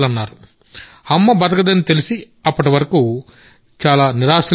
అమ్మ బతకదని తెలిసి అప్పటివరకు చాలా నిరాశలో ఉన్నాం